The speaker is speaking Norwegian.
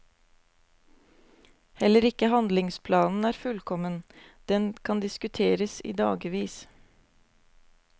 Heller ikke handlingsplanen er fullkommen, den kan diskuteres i dagevis.